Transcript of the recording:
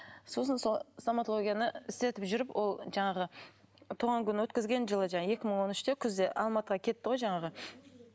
сосын сол стоматологияны істетіп жүріп ол жаңағы туған күн өткізген жылы екі мың он үште күзде алматыға кетті ғой жаңағы